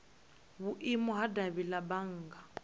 vhuimo ha davhi la bannga